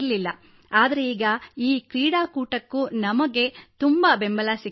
ಆದರೆ ಈಗ ಈ ಕ್ರೀಡಾಕೂಟಕ್ಕೂ ನಮಗೆ ತುಂಬಾ ಬೆಂಬಲ ಸಿಗುತ್ತಿದೆ